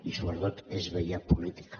i sobretot és vella política